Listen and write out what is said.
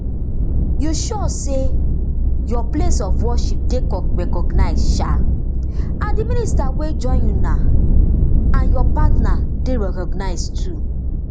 you sure say your place of worship dey recognised um and di minister wey join you um and your partner dey recognised too